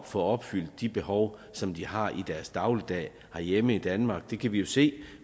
få opfyldt de behov som de har i deres dagligdag herhjemme i danmark det kan vi jo se